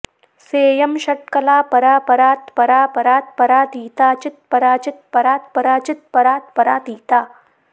सेयं षट्कला परा परात्परा परात्परातीता चित्परा चित्परात्परा चित्परात्परातीता